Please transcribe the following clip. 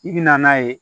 I bi na n'a ye